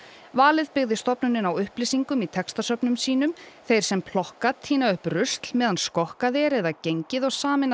valið byggði stofnunin á upplýsingum í textasöfnum sínum þeir sem plokka tína upp rusl meðan skokkað er eða gengið og sameina